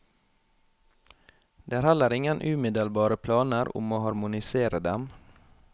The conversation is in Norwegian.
Det er heller ingen umiddelbare planer om å harmonisere dem.